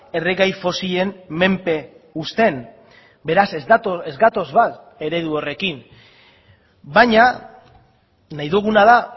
erregai fosilen menpe uzten beraz ez gatoz bat eredu horrekin baina nahi duguna da